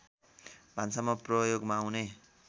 भान्सामा प्रयोगमा आउने